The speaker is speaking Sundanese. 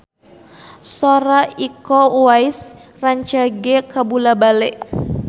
Sora Iko Uwais rancage kabula-bale